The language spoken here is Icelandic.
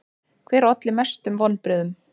Hver olli mestum vonbrigðum?